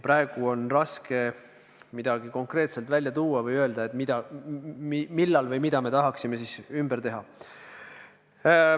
Praegu on raske midagi konkreetselt välja tuua ja öelda, millal või mida me tahaksime ümber teha.